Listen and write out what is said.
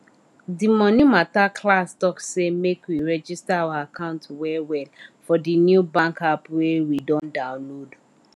de monie mata class talk say make we register our account well well for de new bank app wey we don download